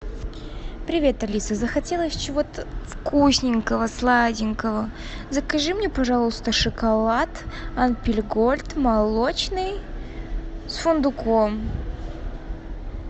привет алиса захотелось чего то вкусненького сладенького закажи мне пожалуйста шоколад альпен гольд молочный с фундуком